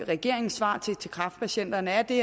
regeringens svar til de kræftpatienter er det